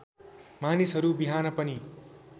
मानिसहरू बिहान पनि